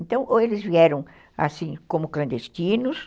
Então, ou eles vieram assim como clandestinos,